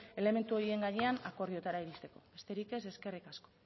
elementu horien gainean akordioetara iristeko besterik ez eskerrik asko